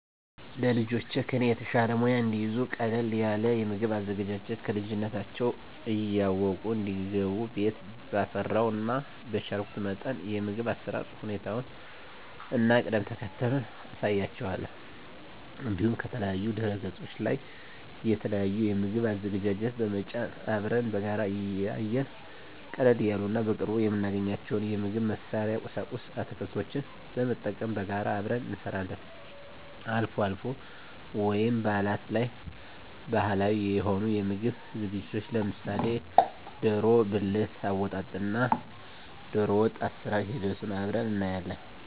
ለልጆቼ ከኔ የተሻለ ሙያ እንዲይዙ ቀለል ያለ የምግብ አዘገጃጀት ከልጅነታቸው እያወቁ እንዲያድጉ ቤት ባፈራው እና በቻልኩት መጠን የምግብ አሰራር ሁኔታውን እና ቅደም ተከተሉን አሳያቸዋለሁ። እንዲሁም ከተለያዩ ድህረገጾች ላይ የተለያዩ የምግብ አዘገጃጀት በመጫን አብረን በጋራ እያየን ቀለል ያሉ እና በቅርቡ የምናገኛቸውን የምግብ መስሪያ ቁሳቁስ እና አትክልቶችን በመጠቀም በጋራ አብረን እንሰራለን። አልፎ አልፎ ወይም በአላት ላይ ባህላዊ የሆኑ የምግብ ዝግጅቶችን ለምሳሌ ደሮ ብልት አወጣጥ እና ደሮወጥ አሰራር ሂደቱን አብረን እናያለን።